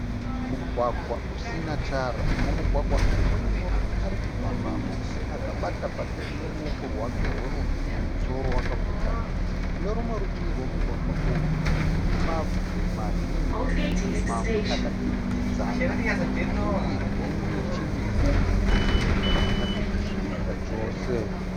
Mugwagwa usina tara . Mumugwagwa umu mune murume arikufambamo akabata bhaketi neruoko rwake rwerudyi . Mumusoro akapfeka hati . Kunerumwe rutivi romugwagwa uyu rune mabwe mazhinji mamwe akaturikidzana uye nemiti mikuru mimwe yakanyatsosvibira chose .